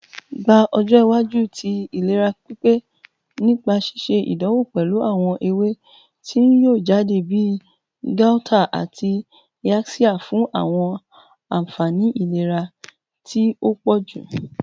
Gba ọjọ iwaju ti ilera pipe nipa ṣiṣe idanwo pẹlu awọn ewe ti n yọ jade bi gauta ati yaxiya fun awọn anfani ilera ti o pọju